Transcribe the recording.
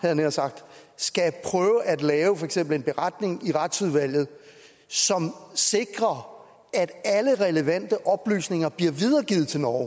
jeg nær sagt skal prøve at lave for eksempel en beretning i retsudvalget som sikrer at alle relevante oplysninger bliver videregivet til norge